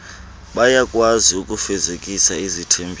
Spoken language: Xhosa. bayakwazi ukufezekisa izithembiso